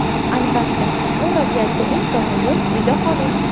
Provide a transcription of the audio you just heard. Albatta, bu vaziyatda eng to‘g‘ri yo‘l – uyda qolish!